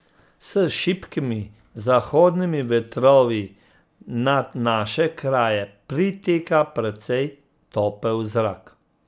S šibkimi zahodnimi vetrovi nad naše kraje priteka precej topel zrak.